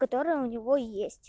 которые у него есть